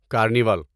carnival